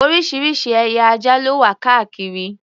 Oríṣiríṣi ẹ̀yà ajá ló wà káàkiri.